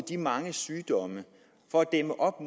de mange sygdomme for at dæmme op